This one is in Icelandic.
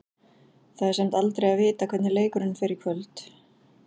Það er samt aldrei að vita hvernig leikurinn í kvöld fer.